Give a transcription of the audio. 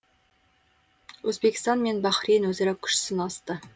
өзбекстан мен бахрейн өзара күш сынасты